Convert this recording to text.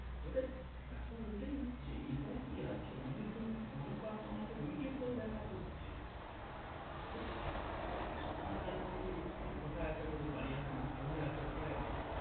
ঐটাই বেপার ঐটাই হচ্ছে এবার কি হচ্ছে অনেক জন অনেক বার তো আমাকে video call দেখাতে হচ্ছে, আরে আমার wife আমাকে জিজ্ঞেস করছে কোথায় আছ? এখনো বাড়ি আসনি? কোথায় আছ কোথায় আছ?